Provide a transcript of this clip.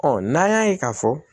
n'an y'a ye k'a fɔ